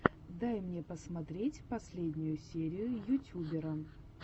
дай мне посмотреть последнюю серию ютубера